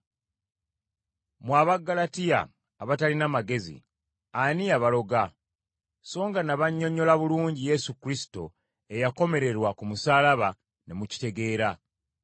Mmwe Abaggalatiya abatalina magezi ani eyabaloga, so nga nabannyonnyola bulungi Yesu Kristo eyakomererwa ku musaalaba ne mukitegeera?